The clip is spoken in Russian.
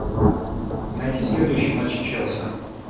найти следующий матч челси